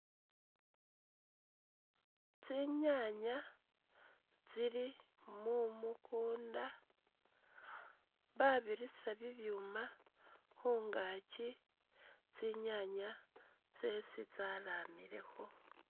Tsinyaanya tsili mukunda babirusa bibyuma khungaakyi tsinyaanya khwesi tsalamila